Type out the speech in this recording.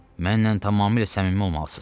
Mənlə tamamilə səmimi olmalısınız.